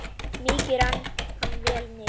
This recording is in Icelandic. Mikið rann hann vel niður.